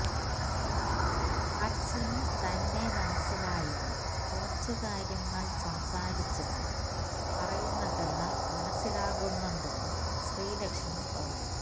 അച്ഛന് തന്നെ മനസ്സിലായെന്നും കുറച്ച് കാര്യങ്ങള് സംസാരിച്ചെന്നും പറയുന്നതെല്ലാം മനസ്സിലാകുന്നുണ്ടെന്നും ശ്രീലക്ഷ്മി പറഞ്ഞു